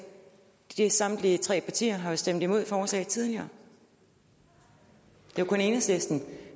samtlige tre partier har stemt imod forslaget tidligere det er kun enhedslisten